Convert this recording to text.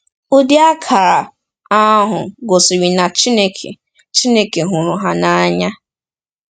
Ụdị akara ahụ gosiri na Chineke Chineke hụrụ ha n’anya.